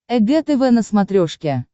эг тв на смотрешке